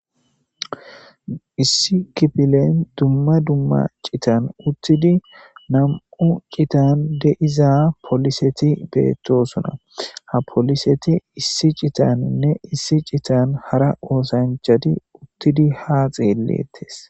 issi kipilen dumma dumma citan uttidi nam7u citan deiza poliseti beettosuna ha poliseti issi citaninne issi citan hara woosanchati uttidi ha xeelleettes